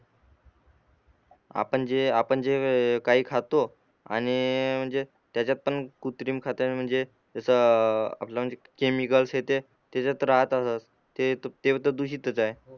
आपण जे आपण जे काही खातो आणि जे म्हणजे त्याच्यात पण कृत्रिम खात्या म्हणजे जस आपला म्हणजे केमिकल्स येते त्याचात राहतातच ते तर दुषीतच आहे